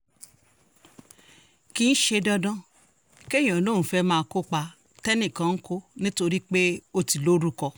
kì í ṣe dandan kéèyàn lóun fẹ́ẹ́ máa kópa tẹ́nìkan ń kọ́ nítorí pé ó ti lórúkọ